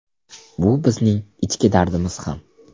Bu bizning ichki dardimiz ham.